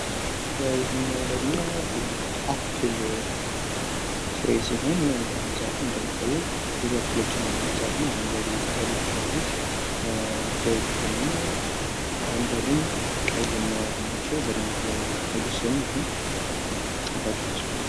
ይሄኛው ደግሞ የአፕል ፍሬ ሲሆን ዛፉም እንደሚታየው ብዙ አፕሎችን የያዘ ዛፍ ነው። አረጓዴ ቅጠሎች አሉት። ፍሬዎቹ ደግሞ አረጓዴም ቀይም የያዙ ናቸው። በደብ አልበሰሉም ግን ጣፋጭ ይመስላሉ።